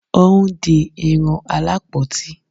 o n di Irun Alapoti